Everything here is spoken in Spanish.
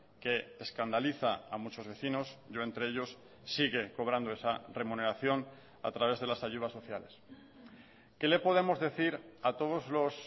que escandaliza a muchos vecinos yo entre ellos sigue cobrando esa remuneración a través de las ayudas sociales qué le podemos decir a todos los